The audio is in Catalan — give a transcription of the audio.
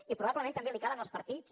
i probablement també els cal als partits